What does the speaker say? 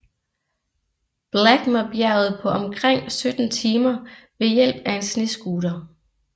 Blackmer bjerget på omkring sytten timer ved hjælp af en snescooter